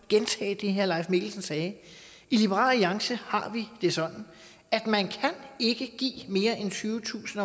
gentage det herre leif mikkelsen sagde i liberal alliance har vi det sådan at man ikke kan give mere end tyvetusind